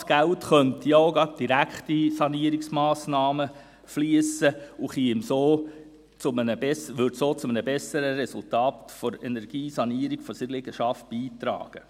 Das Geld könnte auch gerade direkt in Sanierungsmassnahmen fliessen und würde so zu einem besseren Resultat in der Energiesanierung seiner Liegenschaft beitragen.